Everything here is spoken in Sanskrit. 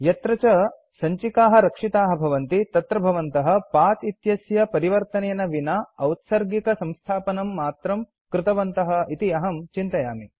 यत्र च सञ्चिकाः रक्षिताः भवन्ति तत्र भवन्तः पथ इत्यस्य परिवर्तनेन विना औत्सर्गिक संस्थापनं मात्रं कृतवन्तः इति अहं चिन्तयामि